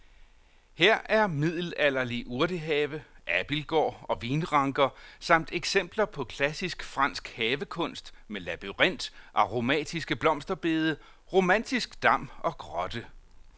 Her er middelalderlig urtehave, abildgård og vinranker samt eksempler på klassisk fransk havekunst med labyrint, aromatiske blomsterbede, romantisk dam og grotte.